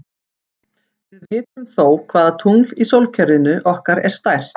Við vitum þó hvaða tungl í sólkerfinu okkar er stærst.